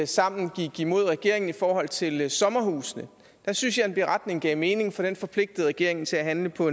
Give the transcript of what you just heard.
sammen gik imod regeringen i forhold til sommerhusene der synes jeg at en beretning gav mening for den forpligtede regeringen til at handle på